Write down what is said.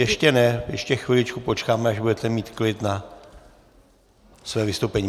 Ještě ne, ještě chviličku počkáme, až budete mít klid na své vystoupení.